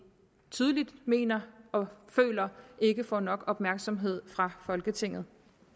tydeligvis mener og føler ikke får nok opmærksomhed fra folketingets